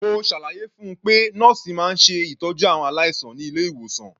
Mo ṣàlàyé fun pé nọ́ọ̀sì máa ń ṣètọ́jú àwọn aláìsàn ní ilé-ìwòsàn.